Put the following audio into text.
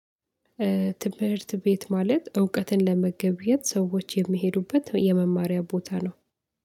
ትምህርት ቤት ማለት እውቀትን ለመገብየት ሰዎች የሚሄዱበት የመማሪያ ቦታ ነው።